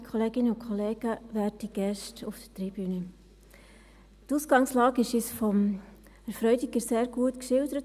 Die Ausgangslage dieser Wahlen wurde uns von Herrn Freudiger sehr gut geschildert.